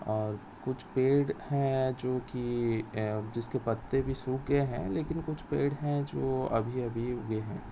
और कुछ पेड़ है जोकि अअअ जिसके पत्ते भी सुख गए है लेकिन कुछ पेड़ है जो अभी अभी उगे है।